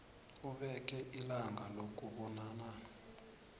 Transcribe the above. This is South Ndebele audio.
ubeke ilanga lokubonana